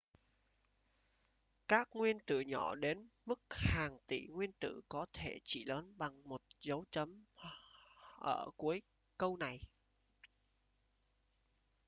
các nguyên tử nhỏ đến mức hàng ngàn tỷ nguyên tử có thể chỉ lớn bằng một dấu chấm ở cuối câu này